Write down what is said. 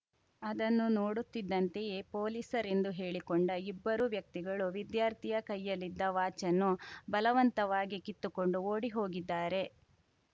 ಅದನ್ನು ನೋಡುತ್ತಿದ್ದಂತೆಯೇ ಪೊಲೀಸರೆಂದು ಹೇಳಿಕೊಂಡ ಇಬ್ಬರೂ ವ್ಯಕ್ತಿಗಳು ವಿದ್ಯಾರ್ಥಿಯ ಕೈಯಲ್ಲಿದ್ದ ವಾಚನ್ನು ಬಲವಂತವಾಗಿ ಕಿತ್ತುಕೊಂಡು ಓಡಿ ಹೋಗಿದ್ದಾರೆ